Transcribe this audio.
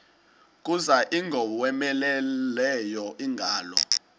kuza ingowomeleleyo ingalo